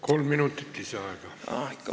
Kolm minutit lisaaega.